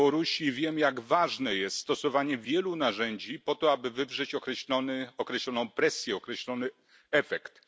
Białorusi i wiem, jak ważne jest stosowanie wielu narzędzi po to, aby wywrzeć określoną presję, określony efekt.